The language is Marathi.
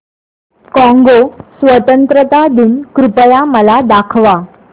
कॉंगो स्वतंत्रता दिन कृपया मला दाखवा